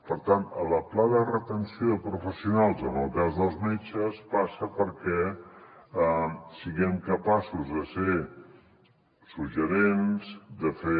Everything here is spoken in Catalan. per tant el pla de retenció de professionals en el cas dels metges passa perquè siguem capaços de ser suggestius de fer